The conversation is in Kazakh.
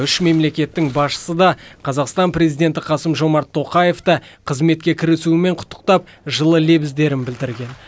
үш мемлекеттің басшысы да қазақстан президенті қасым жомарт тоқаевты қызметке кірісуімен құттықтап жылы лебіздерін білдірген